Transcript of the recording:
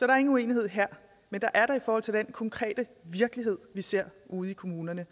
er ingen uenighed her men det er der i forhold til den konkrete virkelighed vi ser ude i kommunerne